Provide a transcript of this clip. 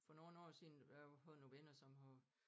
For nogle år siden der havde vi fået nogle venner som havde